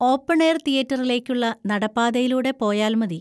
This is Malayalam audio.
ഓപ്പൺ എയർ തിയേറ്ററിലേക്കുള്ള നടപ്പാതയിലൂടെ പോയാൽ മതി.